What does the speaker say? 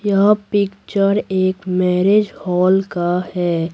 यह पिक्चर एक marriage hall का है।